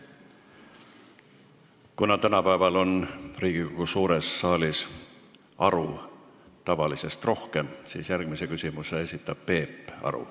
Kuna tänapäeval on Riigikogu suures saalis aru tavalisest rohkem, siis järgmise küsimuse esitab Peep Aru.